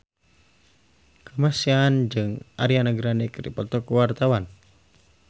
Kamasean jeung Ariana Grande keur dipoto ku wartawan